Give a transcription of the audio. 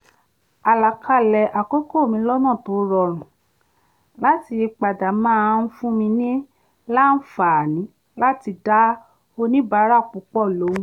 àlàkalẹ̀ àkókò mi lọ́nà tó rorùn láti yípadà máa ń fún mi làǹfààní láti dá oníbàárà púpọ̀ lóhùn